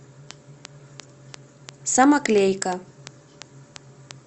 самоклейка